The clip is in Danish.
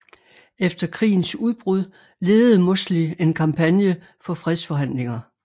Efter krigens udbrud ledede Mosley en kampagne for fredsforhandlinger